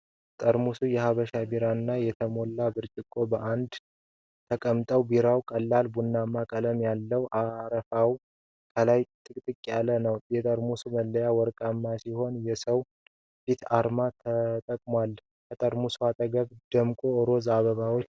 ጠርሙስ የሀበሻ ቢራና የተሞላ ብርጭቆ በአንድነት ተቀምጠዋል። ቢራው ቀላል ቡናማ ቀለም አለው፣ አረፋውም ከላይ ጥቅጥቅ ያለ ነው። የጠርሙሱ መለያ ወርቃማ ሲሆን የሰውን ፊት አርማ ተጠቅሟል። ከጠርሙሱ አጠገብ ደማቅ ሮዝ አበባዎች አሉ።